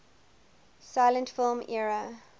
silent film era